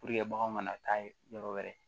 bagan kana taa yɔrɔ wɛrɛ